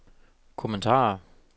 kommentarer